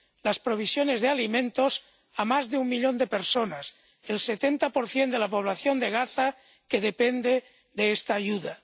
las provisiones de alimentos a más de un millón de personas, el 70 de la población de Gaza, que depende de esta ayuda.